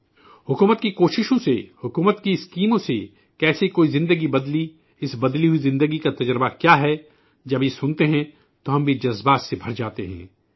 حکومت کی کوششوں سے حکومت کی اسکیموں سے کیسے کوئی زندگی بدلی، اس بدلی ہوئی زندگی کا تجربہ کیا ہے؟ جب یہ سنتے ہیں تو ہم بھی احساسات سے پر ہوجاتے ہیں